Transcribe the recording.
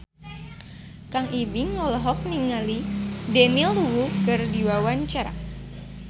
Kang Ibing olohok ningali Daniel Wu keur diwawancara